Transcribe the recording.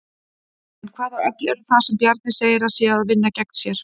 En hvaða öfl eru það sem Bjarni segir að séu að vinna gegn sér?